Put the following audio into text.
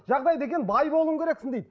жағдай деген бай болуың керексің дейді